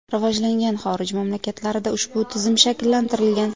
Rivojlangan xorij mamlakatlarida ushbu tizim shakllantirilgan.